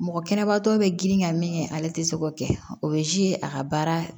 Mɔgɔ kɛnɛbatɔ bɛ girin ka min ale tɛ se k'o kɛ o bɛ a ka baara